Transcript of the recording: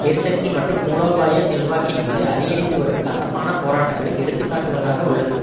எரிசக்தி மற்றும் மூலோபாய செல்வாக்கின் மீது அதிகரித்துவரும் கசப்பான போராட்டங்களை எடுத்து காட்டுவதாக உள்ளது